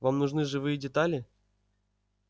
вам нужны живые детали